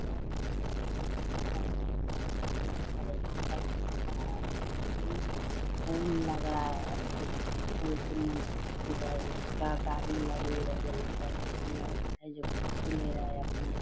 इ पुल लग रहा है पुल के इधर पूरा गाड़ी लगी है यहां --